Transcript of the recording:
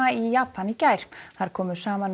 í Japan í gær þar komu saman um